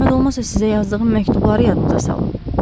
Zəhmət olmasa sizə yazdığım məktubları yadınıza salın.